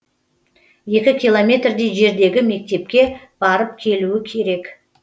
екі километрдей жердегі мектепке барып келу керек